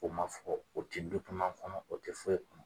O man fɔ o tɛ kɔnɔ o tɛ foyi kɔnɔ.